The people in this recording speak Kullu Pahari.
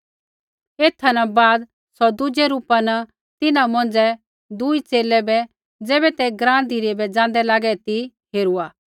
एथा न बाद सौ दुज़ै रूपा न तिन्हां मौंझ़ै दुई च़ेले बै ज़ैबै ते ग्राँ धिरै बै जाँदै लागै ती हेरूआ